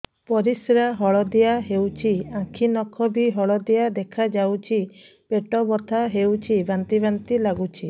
ପରିସ୍ରା ହଳଦିଆ ହେଉଛି ଆଖି ନଖ ବି ହଳଦିଆ ଦେଖାଯାଉଛି ପେଟ ବଥା ହେଉଛି ବାନ୍ତି ବାନ୍ତି ଲାଗୁଛି